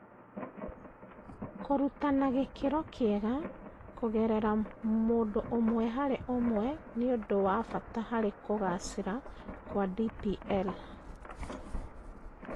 Kũruta na gĩkĩro kĩega ', kũgerera mũndũ ũmwe harĩ ũmwe nĩ ũndũ wa bata harĩ kũgacĩra kwa DPL